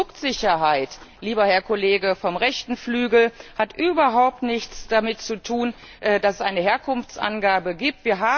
Produktsicherheit, lieber Herr Kollege vom rechten Flügel, hat überhaupt nichts damit zu tun, dass es eine Herkunftsangabe gibt.